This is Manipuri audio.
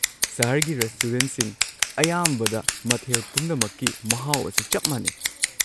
ꯁꯍꯔꯒꯤ ꯔꯦꯁꯇꯨꯔꯦꯟꯠꯁꯤꯡ ꯑꯌꯥꯝꯕꯗ, ꯃꯊꯦꯜ ꯄꯨꯝꯅꯃꯛꯀꯤ ꯃꯍꯥꯎ ꯑꯁꯤ ꯆꯞ ꯃꯥꯟꯅꯩ꯫